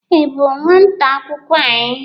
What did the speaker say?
Ị bụ nwata akwụkwọ anyị?